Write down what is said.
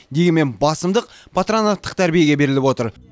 дегенмен басымдық патронаттық тәрбиеге беріліп отыр